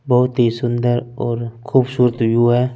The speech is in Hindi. बहुत ही सुन्दर और खुबसूरत युवा है ।